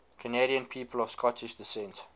canadian people of scottish descent